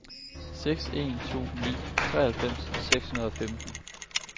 seks en to ni treoghalvfems seks hundrede og femten